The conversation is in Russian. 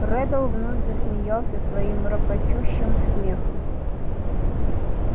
реддл вновь засмеялся своим рокочущим смехом